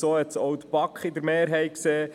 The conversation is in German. So hat es auch die Mehrheit der BaK gesehen: